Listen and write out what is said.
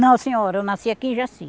Não, senhora, eu nasci aqui em Jaci.